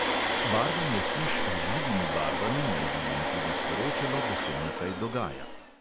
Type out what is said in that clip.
Barvanje hiš z živimi barvami naj bi jim tudi sporočalo, da se nekaj dogaja.